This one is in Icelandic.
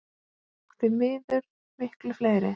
Og því miður miklu fleiri.